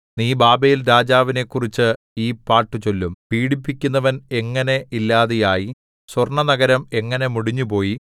നീ ബാബേൽരാജാവിനെക്കുറിച്ച് ഈ പാട്ടുചൊല്ലും പീഡിപ്പിക്കുന്നവൻ എങ്ങനെ ഇല്ലാതെയായി സ്വർണ്ണനഗരം എങ്ങനെ മുടിഞ്ഞുപോയി